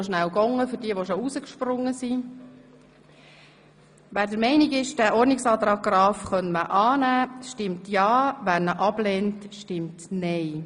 – Wer der Meinung ist, die Traktanden 22, 23 und 24 könnten gemeinsam beraten werden, stimmt ja, wer dies ablehnt, stimmt nein.